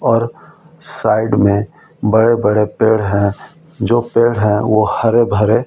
और साइड में बड़े-बड़े पेड़ हैं जो पेड़ हैं वो हरे भरे --